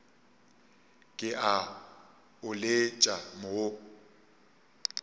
ke a o letša wo